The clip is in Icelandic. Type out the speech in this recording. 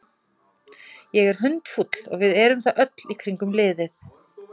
Ég er hundfúll og við erum það öll í kringum liðið.